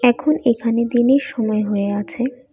এখন এখানে দিনের সময় হয়ে আছে।